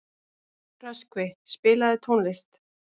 Röskvi, spilaðu tónlist.